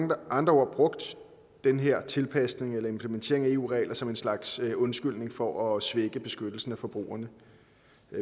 med andre ord brugt den her tilpasning eller implementering af eu regler som en slags undskyldning for at svække beskyttelsen af forbrugerne